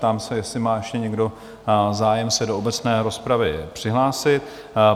Ptám se, jestli má ještě někdo zájem se do obecné rozpravy přihlásit?